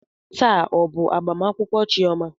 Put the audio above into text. Taa ọ bụ agbamakwụkwọ chioma?